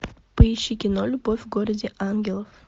поищи кино любовь в городе ангелов